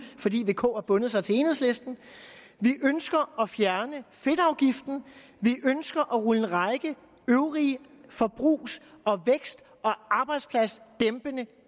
fordi vk har bundet sig til enhedslisten vi ønsker at fjerne fedtafgiften vi ønsker at rulle en række øvrige forbrugs vækst og arbejdspladsdæmpende